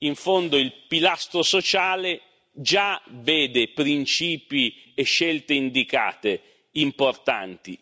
In fondo il pilastro sociale già vede principi e scelte indicate importanti.